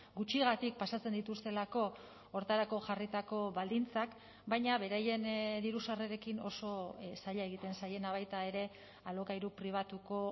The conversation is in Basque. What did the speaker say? gutxigatik pasatzen dituztelako horretarako jarritako baldintzak baina beraien diru sarrerekin oso zaila egiten zaiena baita ere alokairu pribatuko